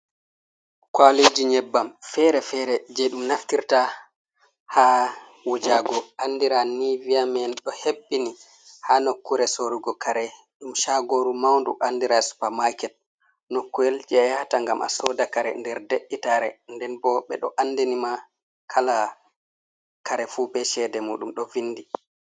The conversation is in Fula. Kwaaliiji nyebbam feere-feere, jey ɗum naffirta haa wujaago andiran ni viya man ɗo hebbini haa nokkuure sorrugo kare, ɗum caagooru mawndu anndira supamaaket, nokkuwel jey a yahata ngam a sooda kare nder de’itaare, nden bo ɓe ɗo anndini ma kala kare fuu be ceede muuɗum ɗo vinndi.